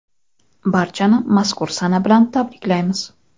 Barchani mazkur sana bilan tabriklaymiz!.